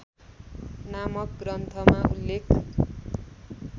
नामक ग्रन्थमा उल्लेख